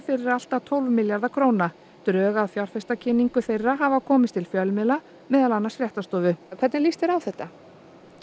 fyrir allt að tólf milljarða króna drög að fjárfestakynningu þeirra hafa komist til fjölmiðla meðal annars Fréttastofu hvernig líst þér á þetta